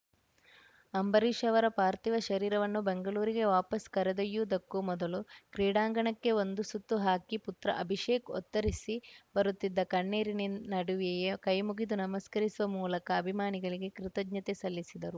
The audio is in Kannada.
ಅಂಬರೀಷ್‌ ಅವರ ಪಾರ್ಥಿವ ಶರೀರವನ್ನು ಬೆಂಗಳೂರಿಗೆ ವಾಪಸ್‌ ಕರೆದೊಯ್ಯುವುದಕ್ಕೂ ಮೊದಲು ಕ್ರೀಡಾಂಗಣಕ್ಕೆ ಒಂದು ಸುತ್ತು ಹಾಕಿ ಪುತ್ರ ಅಭಿಷೇಕ್‌ ಒತ್ತರಿಸಿ ಬರುತ್ತಿದ್ದ ಕಣ್ಣೀರಿನ ನಡುವೆಯೇ ಕೈಮುಗಿದು ನಮಸ್ಕರಿಸುವ ಮೂಲಕ ಅಭಿಮಾನಿಗಳಿಗೆ ಕೃತಜ್ಞತೆ ಸಲ್ಲಿಸಿದರು